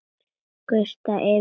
Gusast yfir þær.